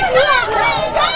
Samirə elə bil Nərgizdir.